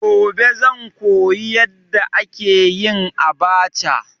Gobe zan koyi yadda ake yin abacha.